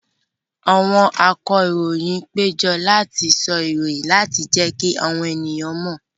Àwọn akọròyìn péjọ láti sọ ìròyìn láti jẹ́kí àwọn èèyàn mọ̀